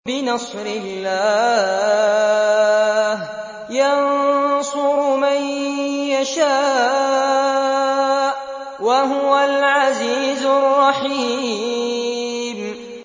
بِنَصْرِ اللَّهِ ۚ يَنصُرُ مَن يَشَاءُ ۖ وَهُوَ الْعَزِيزُ الرَّحِيمُ